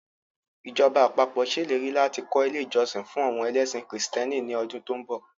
Ìjọba àpapọ̀ ṣèlérí láti kọ́ ilé ìjọsìn fún àwọn ẹlẹ́sìn kìrìsìtẹ́nì ní ọdún tó ń bọ̀